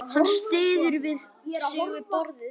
Hann styður sig við borðið.